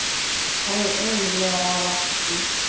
Hann er ömurlegur að láta svona.